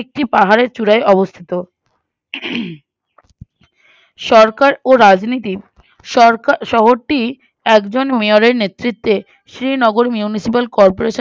একটি পাহাড়ের চূঁড়ায় অবস্থিত হম সরকার ও রাজনীতি সরকার শহরটি একজন Mayor এর নেতৃত্বে সে নগর Municipal corporation